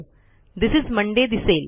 this is Monday दिसेल